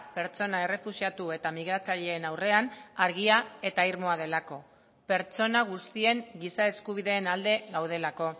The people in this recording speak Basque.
pertsona errefuxiatu eta migratzaileen aurrean argia eta irmoa delako pertsona guztien giza eskubideen alde gaudelako